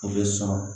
U bɛ sɔn